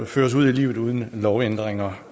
føres ud i livet uden lovændringer